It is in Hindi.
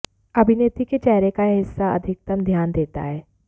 अभिनेत्री के चेहरे का यह हिस्सा अधिकतम ध्यान देता है